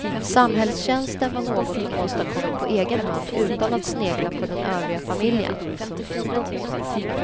Samhällstjänsten var något hon åstadkommit på egen hand utan att snegla på den övriga familjen.